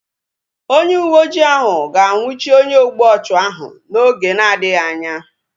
Onye uwe ojii ahu ga anwụchi onye ogbu ọchụ ahu oge na-adịghị anya